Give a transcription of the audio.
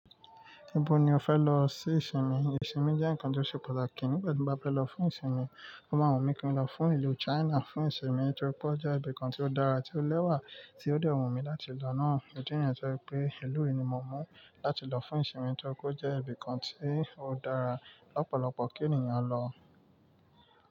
Ibo ni o fẹ lọ sí ìsinmi? Ìsinmi jẹ́ ǹkan tó ṣe pàtàkì. Nígbà tí mo bá fẹ́ lọ fún ìsinmi, mo máa wù mí kí n lọ fún ìlú China fún ìsinmi torí pé ó jẹ́ ibìkan tí ó dára tí ó lẹ́wà tí ó dẹ́ wun mí láti lọ náà. Òtítọ́ yẹn jẹ́ pé ìlú yìí ni mo mú láti lọ fún ìsinmi torí pé ó jẹ́ ibìkan tí ó dára lọ́pọ̀lọpọ̀ kí ènìyàn lọ.